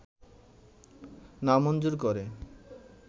নামঞ্জুর করে